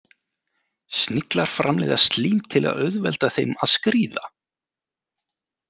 Sniglar framleiða slím til að auðvelda þeim að skríða.